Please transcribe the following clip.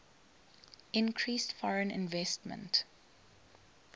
increased foreign investment